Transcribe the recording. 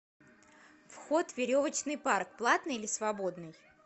вход в веревочный парк платный или свободный